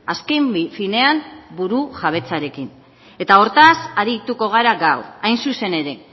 azken finean burujabetzarekin eta hortaz arituko gara gaur hain zuzen ere